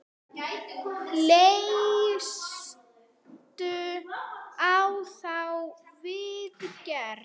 Leistu á þá viðgerð?